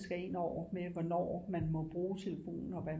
Skal ind over med hvornår man må bruge telefonen og hvad